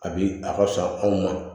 A bi a ka fisa anw ma